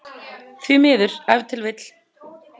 Því miður ef til vill?